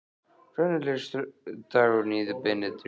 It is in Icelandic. Hvernig leggst dagurinn í þig Benedikt?